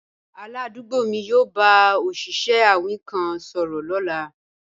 Aládùúgbò mi yóò bá òṣìṣẹ́ awin kan sọ̀rọ̀ lọ́la